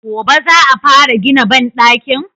Gobe za a fara gina banɗakin?